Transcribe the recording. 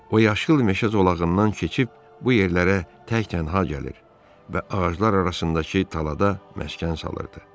O yaşıl meşə zolağından keçib bu yerlərə tək-tənha gəlir və ağaclar arasındakı talada məskən salırdı.